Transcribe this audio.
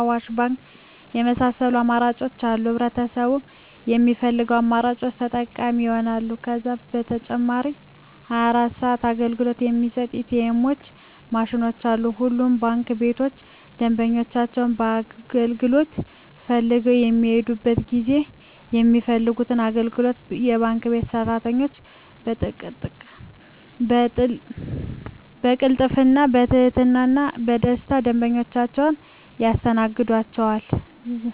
አዋሽ ባንክ የመሳሰሉት አማራጮች አሉ ህብረተሰቡም በሚፈልገው አማራጮች ተጠቃሚ ይሆናሉ። ከዛም በተጨማሪ 24 ሰዓት አገልግሎት የሚሰጡ ኢ.ቲ. ኤምዎች ማሽኖችም አሉ። ሁሉም ባንክ ቤቶች ደንበኞች አገልግሎት ፈልገው በሚሔዱበት ጊዜ የሚፈልጉትን አገልግሎት የባንክ ቤት ሰራተኞች በቅልጥፍና፣ በትህትና እና በደስታና ደንበኞቻቸውን ያስተናግዷቸዋል! ዠ።